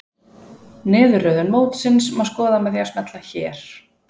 Niðurröðun mótsins má skoða með því að smella hér